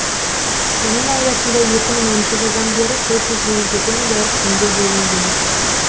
оның аясында екі мың оныншы жылдан бері төрт жүз елу жеті миллиард теңге бөлінген